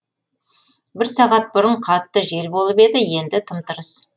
бір сағат бұрын қатты жел болып еді енді тым тырыс